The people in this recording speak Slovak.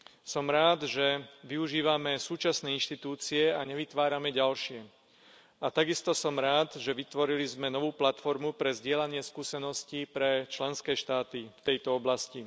Som rád, že využívame súčasné inštitúcie a nevytvárame ďalšie, a takisto som rád, že sme vytvorili novú platformu na zdieľanie skúseností pre členské štáty v tejto oblasti.